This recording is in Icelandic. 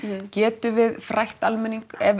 getum við frætt almenning